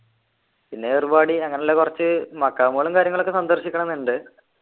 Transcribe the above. പിന്നെ ഏർവാടി അങ്ങനെയുള്ള കുറച്ച് മക്കാമുകളും കാര്യങ്ങളും ഒക്കെ സന്ദർശിക്കണംന്നുണ്ട്